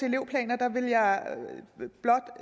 elevplaner der vil jeg blot